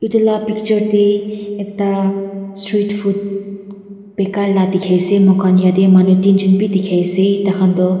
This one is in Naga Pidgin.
etu laga picture te ekta street food beka laga dekhi ase mur khan jatte manu tin jont bhi dekhi ase tar khan tu--